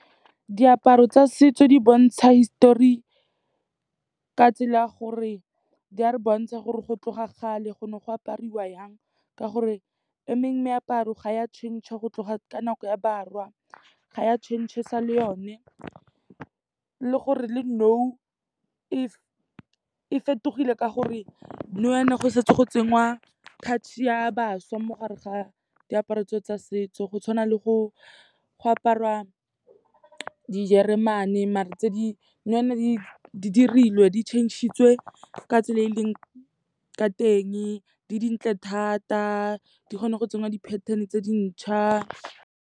Diaparo tsa setso di bontsha hisitori ka tsela gore di a re bontsha gore go tloga kgale go ne go apariwa yang ka gore e mengwe meaparo ga e a change-a go tloga ka nako ya barwa, ga ya change-esa le yone. Le gore le nou e fetogile ka gore, nou yaana go setse go tsenngwa touch-e ya bašwa mo gare ga diaparo tseo tsa setso. Go tshwana le go apara dijeremane mare nou yaana di dirilwe, di change-etswe ka tsela e e leng ka teng, di dintle thata, di kgona go tsenngwa di-pattern-e tse dintšhwa.